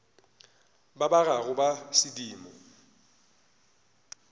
ba ba gago ba sedimo